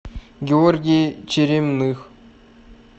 георгий черемных